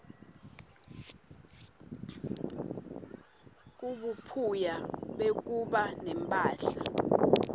kubuphuya bekuba nemphahla